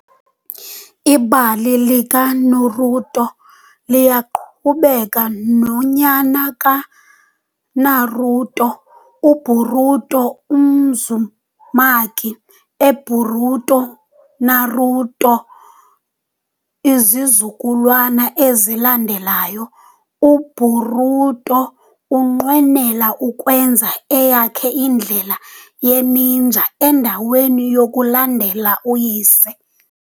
Ibali likaNaruto liyaqhubeka nonyana kaNaruto, uBoruto Uzumaki, eBoruto- Naruto Izizukulwana ezilandelayo- UBoruto unqwenela ukwenza eyakhe indlela ye-ninja endaweni yokulandela uyise.